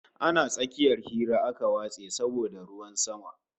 Ana tsakiyar hira aka watse saboda ruwan sama